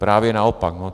Právě naopak.